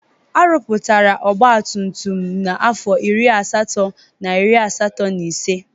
Arụpụtara ọgba tum tum n'afọ iri na asatọ na iri asatọ na ise.